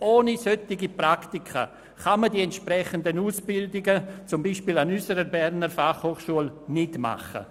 Ohne solche Praktika kann man die entsprechenden Ausbildungen, zum Beispiel an unserer Berner Fachhochschule (BFH), nicht absolvieren.